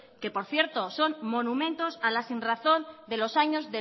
que por cierto son monumentos a la sinrazón de los años